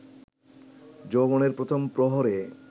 যৌবনের প্রথম প্রহরে